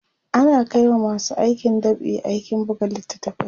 ana Kai wa masu aikin dab'i aikin buga littatafai